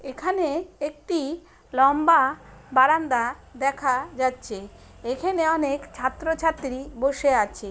এখানে একটি লম্বা বারান্দা দেখা যাচ্ছে। এখানে অনেক ছাত্র-ছাত্রী বসে আছে।